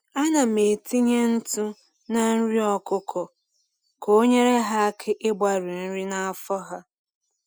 Anam etinye ntụ na nri ọkụkọ ka onyere ha aka ịgbari nri na afọ ha